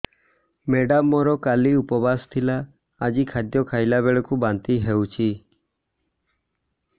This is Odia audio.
ମେଡ଼ାମ ମୋର କାଲି ଉପବାସ ଥିଲା ଆଜି ଖାଦ୍ୟ ଖାଇଲା ବେଳକୁ ବାନ୍ତି ହେଊଛି